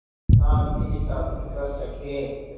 शांति स्थापित कर सकें